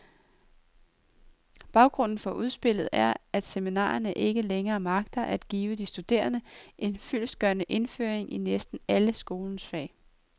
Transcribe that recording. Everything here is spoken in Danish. Baggrunden for udspillet er, at seminarierne ikke længere magter at give de studerende en fyldestgørende indføring i næsten alle skolens fag.